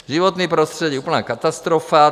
Životní prostředí - úplná katastrofa.